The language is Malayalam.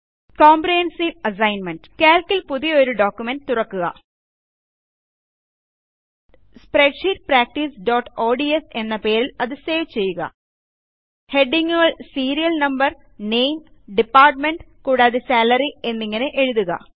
കോമ്പ്രഹെൻസീവ് അസൈൻമെൻറ്Calc ൽ പുതിയൊരു പ്രമാണം തുറക്കുക സ്പ്രെഡ്ഷീറ്റ് practiceഓഡ്സ് എന്ന പേരിൽ അത് സേവ് ചെയ്യുക ഹെഡിംഗ് ങ്ങുകൾ സീരിയൽ നംബർ നാമെ ഡിപാർട്ട്മെന്റ് കൂടാതെ സാലറി എന്നിങ്ങനെ എഴുതുക